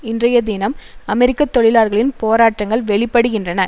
இன்றைய தினம் அமெரிக்க தொழிலாளர்களின் போராட்டங்கள் வெளிப்படுகின்றன